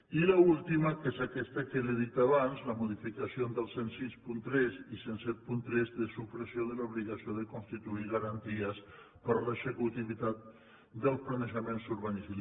i l’última que és aquesta que li he dit abans les modificacions dels deu seixanta tres i deu setanta tres de supressió de l’obligació de constituir garanties per a l’executivitat dels planejaments urbanístics